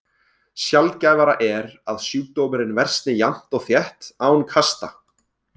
Sjaldgæfara er að sjúkdómurinn versni jafnt og þétt án kasta.